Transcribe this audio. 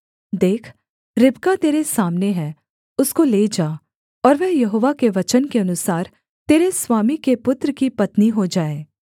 देख रिबका तेरे सामने है उसको ले जा और वह यहोवा के वचन के अनुसार तेरे स्वामी के पुत्र की पत्नी हो जाए